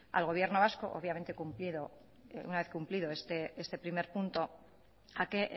al gobierno vasco obviamente una vez cumplido este primer punto a que